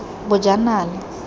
bojanala